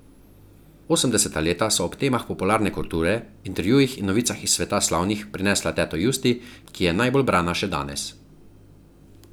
Osemdeseta leta so ob temah popularne kulture, intervjujih in novicah iz sveta slavnih prinesla teto Justi, ki je najbolj brana še danes.